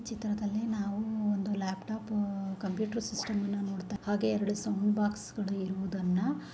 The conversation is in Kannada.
ಈ ಚಿತ್ರದಲ್ಲಿ ನಾವು ಒಂದು ಲ್ಯಾಪ್ಟಾಪ್ ಕಂಪ್ಯೂಟರ್ ಸಿಸ್ಟಮ್ ಹಾಗೆ ಎರಡು ಸೌಂಡ್ ಬಾಕ್ಸ್ ಗಳು ಇರುವದನ್ನ--